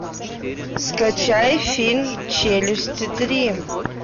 скачай фильм челюсти три